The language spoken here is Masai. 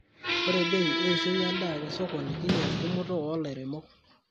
Ore bei eishoi endaa te sokoni kinyal tumoto oo lairemok.